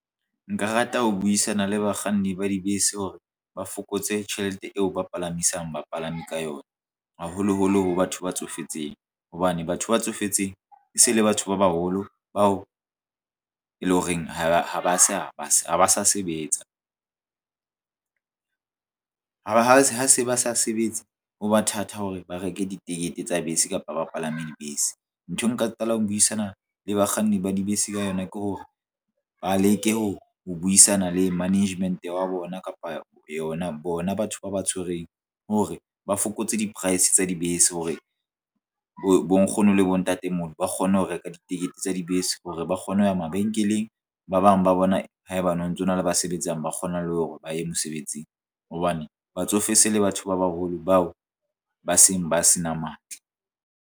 Nka rata ho buisana le bakganni ba dibese hore ba fokotse tjhelete eo ba palamisang bapalami ka yona haholoholo ho batho ba tsofetseng hobane batho ba tsofetseng e se le batho ba baholo bao e le horeng ha ba sa ba sa ba sa sebetsa ho ba ha se ha se ba sa sebetse ho ba thata hore ba reke ditekete tsa bese kapa ba palame dibese. Nthwe nka qala ho buisana le bakganni ba dibese ka yona ke hore ba leke ho buisana le management wa bona kapa yona bona batho ba ba tshwereng hore ba fokotse di-price tsa dibese hore bo nkgono le bontatemoholo ba kgone ho reka ditekete tsa dibese hore ba kgone ho ya mabenkeleng ba bang ba bona haebane ho ntsona le ba sebetsang ba kgona le hore ba ye mosebetsing. Hobane batsofe se le batho ba baholo bao ba seng ba se na matla.